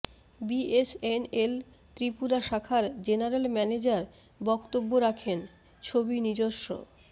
BSNL Tripura শাখার general manager বক্তব্য রাখেন ছবি নিজস্ব